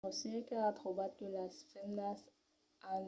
la recerca a trobat que las femnas an